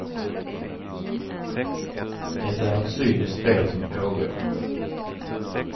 Det är ett cyniskt spel som pågår.